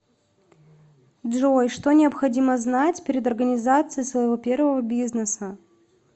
джой что необходимо знать перед организацией своего первого бизнеса